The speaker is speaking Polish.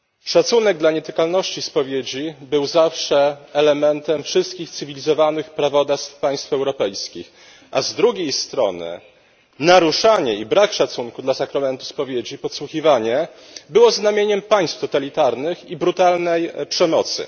Szacunek dla nietykalności spowiedzi był zawsze elementem wszystkich cywilizowanych prawodawstw państw europejskich, a z drugiej strony naruszanie i brak szacunku dla sakramentu spowiedzi, podsłuchiwanie, było znamieniem państw totalitarnych i brutalnej przemocy.